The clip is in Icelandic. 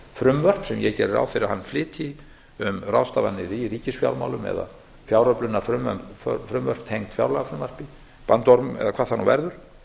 ráð fyrir að hann flytji um ráðstafanir í ríkisfjármálum eða fjáröflunarfrumvörp tengd fjárlagafrumvarpi bandorm eða hvað það nú verður